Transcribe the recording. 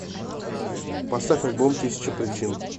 поставь альбом тысяча причин